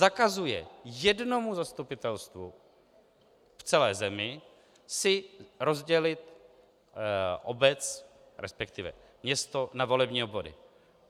Zakazuje jednomu zastupitelstvu v celé zemi si rozdělit obec, respektive město, na volební obvody.